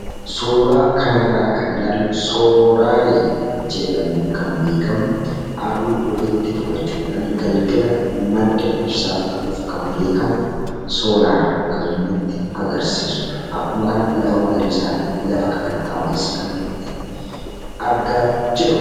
Suuraa kanarraa kan ilaallu soolaarii jedhamuun kan beekamu, aduu ofitti fudhachuudhaan galgala madda ibsaa ta'uun kan beekamu soolaarii kan nutti agarsiisuudha. Akkuma kana lafa magariisaa fi lafa kakatta'aa wayiiti kan nuti argaa jirru.